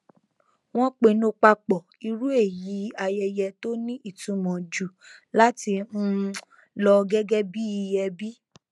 wọn pinnu papọ irú èyí ayẹyẹ tó ní ìtumọ njù láti um lọ gẹgẹ bí i ẹbí